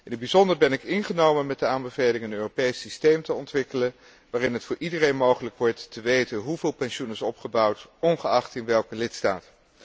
In het bijzonder ben ik ingenomen met de aanbeveling een Europees systeem te ontwikkelen, waarin het voor iedereen mogelijk wordt te weten hoeveel pensioen is opgebouwd, ongeacht in welke lidstaat.